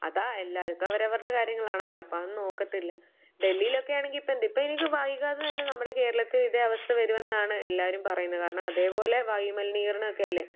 അതാ എല്ലാവർക്കും അവരവരുടെ കാര്യങ്ങളാണല്ലോ? അപ്പം അത് നോക്കത്തില്ല.ഡെല്ലിലൊക്കെ ആണെങ്കിൽ ഇപ്പം ഇപ്പ വൈകാതെ തന്നെ നമ്മടെ കേരളത്തിൽ ഇതേ അവസ്ഥ വരുമെന്നാണ് എല്ലാവരും പറയുന്നത്. കാരണം, അതേപോലെ വായുമലിനീകരണമൊക്കെയല്ലേ?